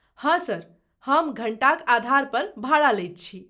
हँ सर, हम घण्टाक आधारपर भाड़ा लैत छी।